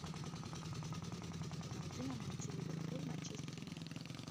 помоги нам найти ливерпуль манчестер юнайтед